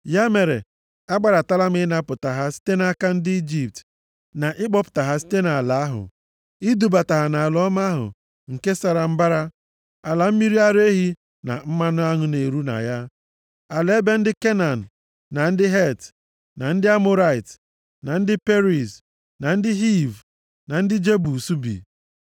Ya mere, agbadatala m ịnapụta ha site nʼaka ndị Ijipt na ịkpọpụta ha site nʼala ahụ, idubata ha nʼala ọma ahụ, nke sara mbara, ala mmiri ara ehi na mmanụ aṅụ na-eru na ya. Ala ebe ndị Kenan, na ndị Het, na ndị Amọrait, na ndị Periz, na ndị Hiv, na ndị Jebus bi.